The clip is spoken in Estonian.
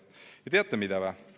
Ja teate mida?